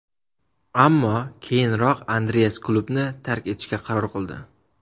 Ammo keyinroq Andreas klubni tark etishga qaror qildi.